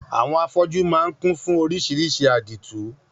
Àwọn afọ́jú máà ń kún fún oríṣiríṣi àdìtú.